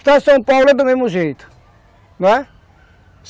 Estado de São Paulo é do mesmo jeito, não é?